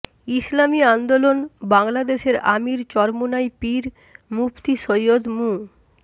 ইসলামী আন্দোলন বাংলাদেশের আমির চরমোনাই পীর মুফতি সৈয়দ মু